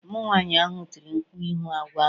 Ụmụ nwanyị ahụ tiri mkpu ịhụ agwọ ahụ